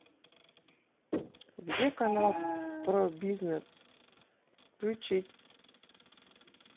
где канал про бизнес включить